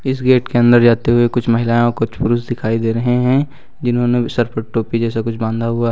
इस गेट के अंदर जाते हुए कुछ महिलाएं और कुछ पुरुष दिखाई दे रहे हैं जिन्होंने व् सर पर टोपी जैसा कुछ बांधा हुआ --